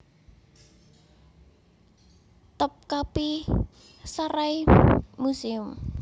Topkapi Saray Museum